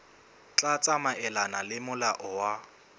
tla tsamaelana le molao wa